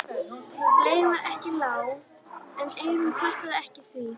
Leigan var ekki lág en Eyrún kvartaði ekki því